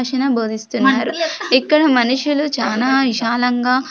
--క్షణ బోధిస్తున్నారు ఇక్కడ మనుషులు చానా విశాలంగా.